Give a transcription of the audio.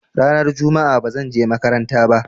Ranar juma'a ba zan je makaranta ba.